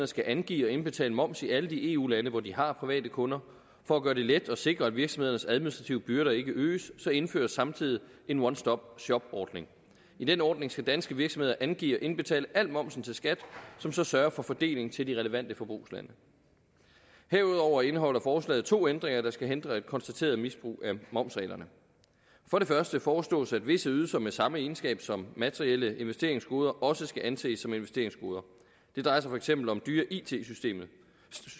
skal angive og indbetale moms i alle de eu lande hvor de har private kunder for at gøre det let at sikre at virksomhedernes administrative byrder ikke øges indføres samtidig en one stop shop ordning i den ordning skal danske virksomheder angive og indbetale al momsen til skat som så sørger for fordelingen til de relevante forbrugslande herudover indeholder forslaget to ændringer der skal hindre et konstateret misbrug af momsreglerne for det første foreslås at visse ydelser med samme egenskab som materielle investeringsgoder også skal anses som investeringsgoder det drejer sig for eksempel om dyre it